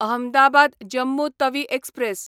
Ahmedabad Jammu Tawi express